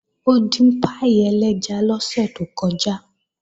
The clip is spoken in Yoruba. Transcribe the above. Ó dín páì ẹlẹ́ja lọ́sẹ̀ tó kọjá